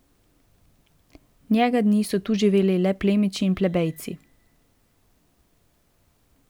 Njega dni so tu živeli le plemiči in plebejci.